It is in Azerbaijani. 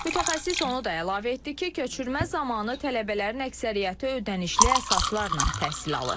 Mütəxəssis onu da əlavə etdi ki, köçürmə zamanı tələbələrin əksəriyyəti ödənişli əsaslarla təhsil alır.